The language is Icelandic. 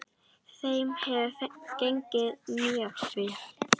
Þeim hefur gengið mjög vel.